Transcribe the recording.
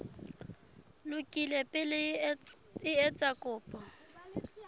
lokile pele o etsa kopo